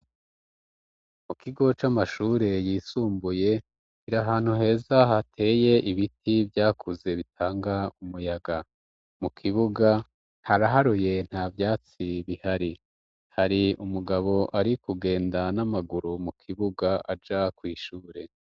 Mu kigo c'amashure yisumbuye tiri ahantu heza hateye ibiti vyakuze bitanga umuyaga mu kibuga haraharuye nta vyatsi bihari hari umugabo ari kugenda n'amaguru mu kibuga aja kw'ishure.